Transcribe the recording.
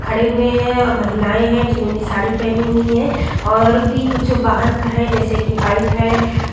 खड़े हुए है महिलाये है जिन्होंने साड़ी पहनी हुई है और भी कुछ वाहन है जैसे कि बाइक है।